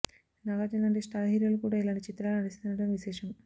నాగార్జున లాంటి స్టార్ హీరోలు కూడా ఇలాంటి చిత్రాల్లో నటిస్తుండడం విశేషం